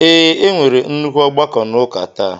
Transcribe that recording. Ee, e nwere nnukwu ọgbakọ n'ụka ​​taa